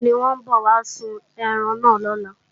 Bẹ́ẹ̀ni, wọ́n ń bọ̀ wá sun ẹran náà lọ́la